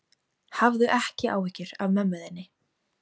Hafðu ekki áhyggjur af mömmu þinni.